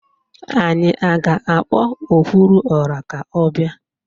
Anyị a ga-akpọ okwuruọra ka ọ bịa?